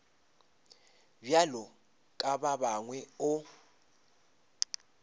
bjalo ka ba bangwe o